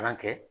Kalan kɛ